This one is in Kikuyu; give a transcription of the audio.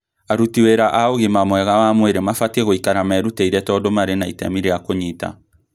Aruti wĩra a ũgima mwega wa mwĩrĩ mabatii gũikara meruteire tondu marĩ na itemi ria kūnyita